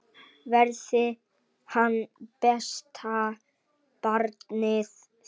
Verði hann besta barnið þitt.